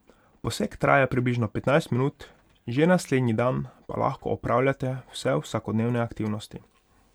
Poseg traja približno petnajst minut, že naslednji dan pa lahko opravljate vse vsakodnevne aktivnosti.